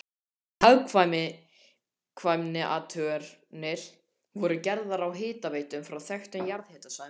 Hagkvæmniathuganir voru gerðar á hitaveitum frá þekktum jarðhitasvæðum utan